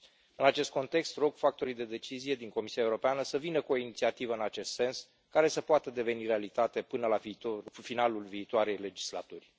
În acest context, rog factorii de decizie din Comisia Europeană să vină cu o inițiativă în acest sens, care să poată deveni realitate până la finalul viitoarei legislaturi.